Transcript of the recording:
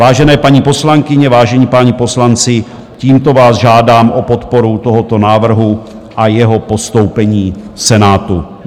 Vážené paní poslankyně, vážení páni poslanci, tímto vás žádám o podporu tohoto návrhu a jeho postoupení Senátu.